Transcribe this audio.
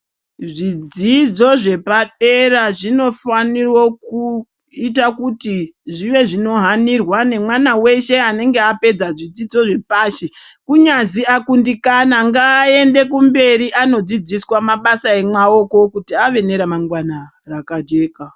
Zvidzidzo zvepadera zvinofaniro kuito kuti zvive zvinohanirwa nemwana weshe anenge apedza zvidzidzo zvepashi kunyazi akundikana ngaende kumberi anodzidziswa mabasa emaoko kuti ave neramangwana rakajeka.